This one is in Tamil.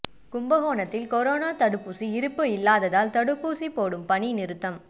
கும்பகோணத்தில் கொரோனா தடுப்பூசி இருப்பு இல்லாததால் தடுப்பூசி போடும் பணி நிறுத்தம்